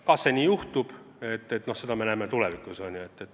Kas nii juhtub, seda näeme tulevikus.